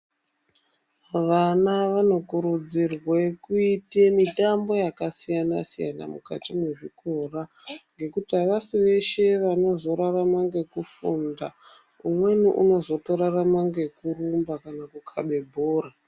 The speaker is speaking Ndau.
Vana vanokurudzirwe kuite mitambo yakasiyana siyana mukati mezvitora nekuti avasi veshe vanozorarama ngekufunda umweni unozotozrarama ngekurumba kana kukhabe bhora.